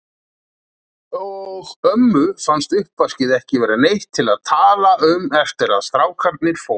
Og ömmu fannst uppvaskið ekki vera neitt til að tala um eftir að strákarnir fóru.